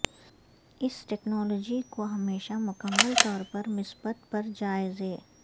اس technology کو ہمیشہ مکمل طور پر مثبت پر جائزے